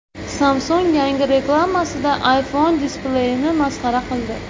Samsung yangi reklamasida iPhone displeyini masxara qildi.